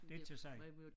Det ikke til at sige